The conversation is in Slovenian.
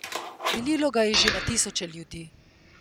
Delilo ga je že na tisoče ljudi.